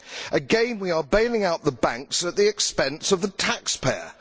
Again, we are bailing out the banks at the expense of the taxpayer.